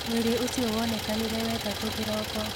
Mwĩrĩ ũcio wonekanire wetatu kĩroko